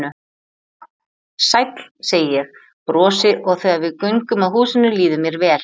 Sæll, segi ég, brosi og þegar við göngum að húsinu líður mér vel.